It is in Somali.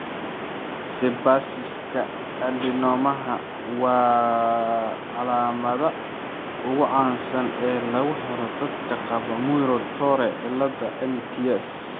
Sebaciska adenomaha waa calaamadda ugu caansan ee lagu helo dadka qaba Muir Torre ciilada (MTS).